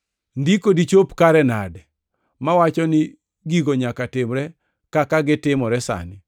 Ndiko dichop kare nade mawacho ni gigo nyaka timre kaka gitimore sani?”